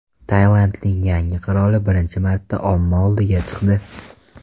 Tailandning yangi qiroli birinchi marta omma oldiga chiqdi.